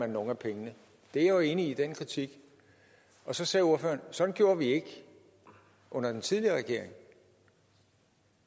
nogle af pengene jeg er jo enig i den kritik og så sagde ordføreren sådan gjorde vi ikke under den tidligere regering